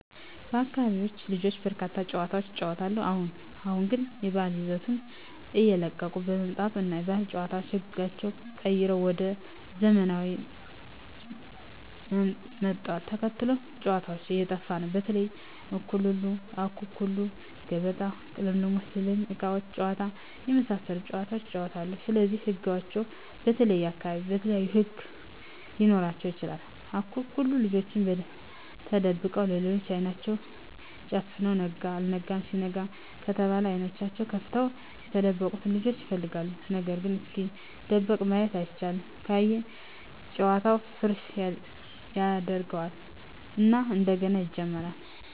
በአካቢው ልጆች በርካታ ጨዋታዎችን ይጫወታሉ አሁን አሁን ግን የባህል ይዘቱን እየለቀቀ በመምጣቱ እና የባህል ጨዋታዎች ህጋቸው ተቀይሮ ወደ ዘመናውያን ምጣቱን ተከትሎ ጨዎታዎች እየጠፉ ነው በተለይ:- አኩኩሉ ገበጣ: ቅልሞሽ ዝላይ እቃቃ ጨዎታ የመሣሠሉት ጨዋታዎች ይጫወታሉ ስለዚህ ህጋቸው በተለየየ አካባቢ የተለያዩ ህግ ሊኖራቸው ይችላል አኩኩሉ ልጆች ተደብቀው ሌሎች አይናቸውን ተጨፍነው ነጋ አልጋ ሲሉ ነጋ ከተባለ አይኔናቸውን ከፍተው የተደበቀውን ልጅ ይፈልጋሉ ነገርግ እስኪደበቅ ማየት አይቻልም ካየ ጨዋታውን ፉረሽ ያጀርገው እና እንደገና ይጀምራሉ።